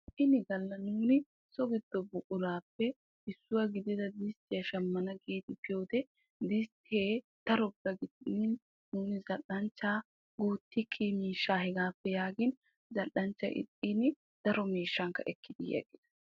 Ini galla nuuni so giddo buqurappe issuwaa gidida distiyaa shammana gidi biyode diste daroppe giddon zal'anchcha gutiki miishshaa hegappe yaagin zal'anchchay ixxin daro miishshaa ekkidi yeddiis.